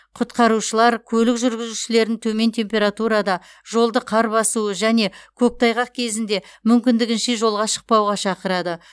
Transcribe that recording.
құтқарушылар көлік жүргізушілерін төмен температурада жолды қар басуы және көктайғақ кезінде мүмкіндігінше жолға шықпауға шақырады